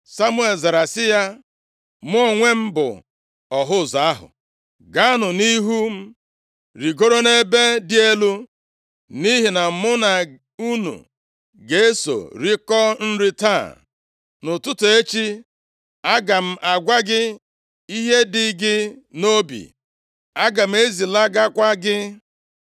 Samuel zara sị ya, “Mụ onwe m bụ ọhụ ụzọ ahụ. Gaanụ nʼihu m rigoruo nʼebe dị elu, nʼihi na mụ na unu ga-eso rikọọ nri taa. Nʼụtụtụ echi aga m agwa gị ihe dị gị nʼobi. Aga m ezilagakwa gị.